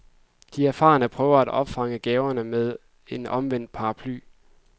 De erfarne prøver at opfange gaverne med en omvendt paraply.